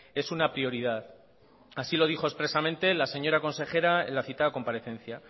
es una prioridad así lo dijo expresamente la señora consejera en la citada comparecencia